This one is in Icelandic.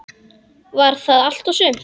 Var það allt og sumt?